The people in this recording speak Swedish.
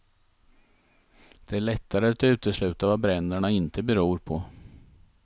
Det är lättare att utesluta vad bränderna inte beror på.